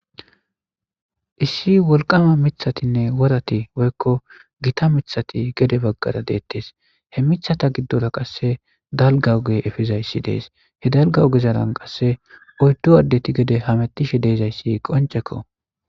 Issi wolqama mithatinne worati woykko gita mithati gede baggara deettes he mithata giddora qasse dalgawge efizayssi dees he dalga ugezaran qasse oyddu addeti gede hamettishe deezayssi qoncekko